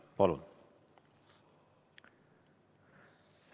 Palun!